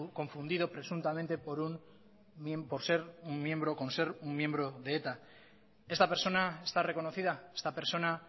confundido presuntamente con ser un miembro de eta esta persona está reconocida esta persona